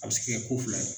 A bɛ se ka kɛ ko fila ye